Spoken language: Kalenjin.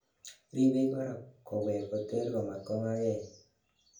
ribei korak kowek koter komat kongaa gei